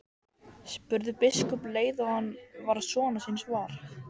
spurði biskup um leið og hann varð sonar síns var.